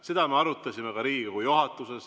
" Seda me arutasime ka Riigikogu juhatuses.